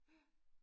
Ja